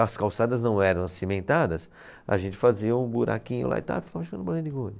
As calçadas não eram cimentadas, a gente fazia um buraquinho lá e tal ficava jogando bolinha de gude.